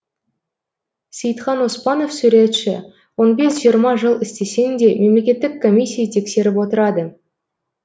сейітхан оспанов суретші он бес жиырма жыл істесең де мемлекеттік комиссия тексеріп отырады